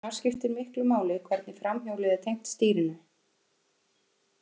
Þar skiptir miklu máli hvernig framhjólið er tengt stýrinu.